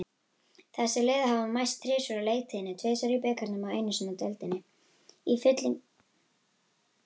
Þessi lið hafa mæst þrisvar á leiktíðinni, tvisvar í bikarnum og einu sinni í deildinni.